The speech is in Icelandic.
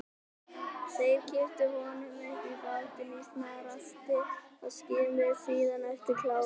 Þeir kipptu honum upp í bátinn í snarhasti og skimuðu síðan eftir Kára.